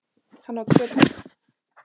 Hann á tvö börn.